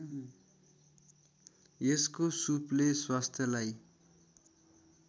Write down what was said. यसको सुपले स्वास्थ्यलाई